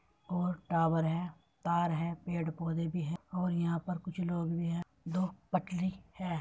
और टॉवर है तार है पेड़ पौधे भी है और यहाँ पर कुछ लोग भी है दो पटरी है।